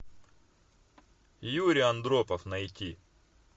юрий андропов найти